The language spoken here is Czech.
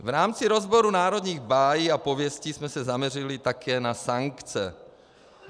V rámci rozboru národních bájí a pověstí jsme se zaměřili také na sankce.